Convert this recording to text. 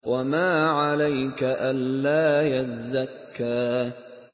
وَمَا عَلَيْكَ أَلَّا يَزَّكَّىٰ